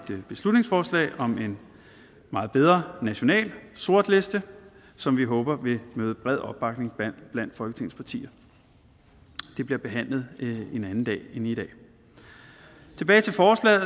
beslutningsforslag om en meget bedre national sortliste som vi håber vil nyde bred opbakning blandt folketingets partier det bliver behandlet en anden dag end i dag tilbage til forslaget